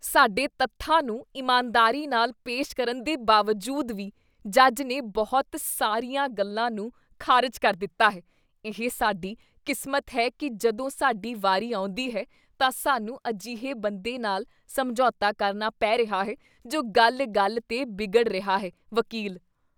ਸਾਡੇ ਤੱਥਾਂ ਨੂੰ ਇਮਾਨਦਾਰੀ ਨਾਲ ਪੇਸ਼ ਕਰਨ ਦੇ ਬਾਵਜੂਦ ਵੀ ਜੱਜ ਨੇ ਬਹੁਤ ਸਾਰੀਆਂ ਗੱਲਾਂ ਨੂੰ ਖਾਰਜ ਕਰ ਦਿੱਤਾ ਹੈ ਇਹ ਸਾਡੀ ਕਿਸਮਤ ਹੈ ਕੀ ਜਦੋਂ ਸਾਡੀ ਵਾਰੀ ਆਉਂਦੀ ਹੈ ਤਾਂ ਸਾਨੂੰ ਅਜਿਹੇ ਬੰਦੇ ਨਾਲ ਸਮਝੌਤਾ ਕਰਨਾ ਪੈ ਰਿਹਾ ਹੈ ਜੋ ਗੱਲ ਗੱਲ 'ਤੇ ਵਿਗੜ ਰਿਹਾ ਹੈ ਵਕੀਲ